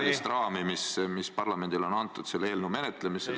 ... ajalist raami, mis parlamendile on antud selle eelnõu menetlemiseks.